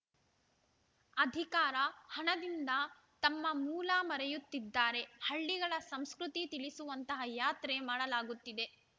ಅಧಿಕಾರ ಹಣದಿಂದ ತಮ್ಮ ಮೂಲ ಮರೆಯುತ್ತಿದ್ದಾರೆ ಹಳ್ಳಿಗಳ ಸಂಸ್ಕೃತಿ ತಿಳಿಸುವಂತಹ ಯಾತ್ರೆ ಮಾಡಲಾಗುತ್ತಿದೆ